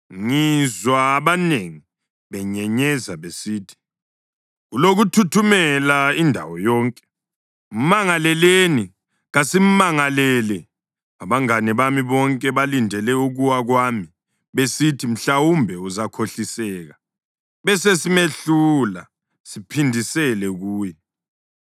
Ngizwa abanengi benyenyeza besithi, “Kulokuthuthumela indawo yonke! Mmangaleleni! Kasimangalele!” Abangane bami bonke balindele ukuwa kwami, besithi, “Mhlawumbe uzakhohliseka; besesimehlula siphindisele kuye.”